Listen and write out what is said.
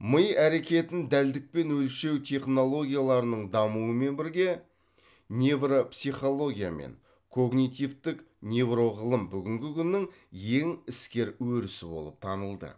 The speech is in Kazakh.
ми әрекетін дәлдікпен өлшеу технологияларының дамуымен бірге невропсихология мен когнитивтік невроғылым бүгінгі күннің ең іскер өрісі болып танылды